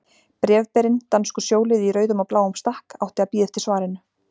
Bréfberinn, danskur sjóliði í rauðum og bláum stakk, átti að bíða eftir svarinu.